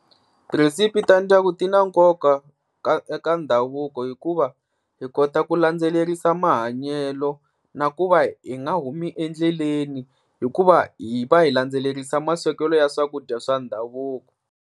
Tirhesipi ta ndyangu ti na nkoka ka ka ndhavuko hikuva hi kota ku landzelerisa mahanyelo, na ku va hi nga humi endleleni hikuva hi va hi landzelerisa maswekelo ya swakudya swa ndhavuko.